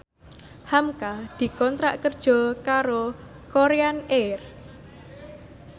hamka dikontrak kerja karo Korean Air